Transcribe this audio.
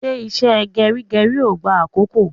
Ṣé ìṣe geri geri ó gbá àkókò?